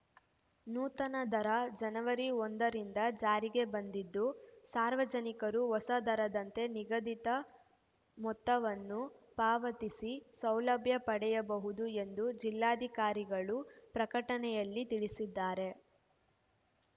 ನೂತನ ದರ ಜನವರಿ ಒಂದರಿಂದ ಜಾರಿಗೆ ಬಂದಿದ್ದು ಸಾರ್ವಜನಿಕರು ಹೊಸ ದರದಂತೆ ನಿಗದಿತ ಮೊತ್ತವನ್ನು ಪಾವತಿಸಿ ಸೌಲಭ್ಯ ಪಡೆಯಬಹುದು ಎಂದು ಜಿಲ್ಲಾಧಿಕಾರಿಗಳು ಪ್ರಕಟಣೆಯಲ್ಲಿ ತಿಳಿಸಿದ್ದಾರೆ